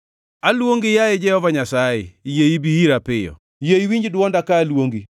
Aluongi, yaye Jehova Nyasaye, yie ibi ira piyo. Yie iwinj dwonda ka aluongi.